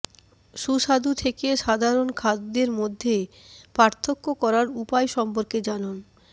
সুস্বাদু থেকে সাধারণ খাদ্য মধ্যে পার্থক্য করার উপায় সম্পর্কে জানুন